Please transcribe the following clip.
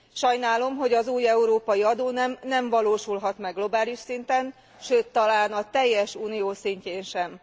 Sajnálom, hogy az új európai adónem nem valósulhat meg globális szinten, sőt, talán a teljes Unió szintjén sem.